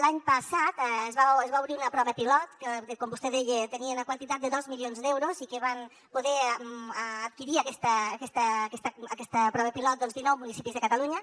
l’any passat es va es va obrir una prova pilot que com vostè deia tenia una quantitat de dos milions d’euros i que van poder adquirir aquesta prova pilot doncs dinou municipis de catalunya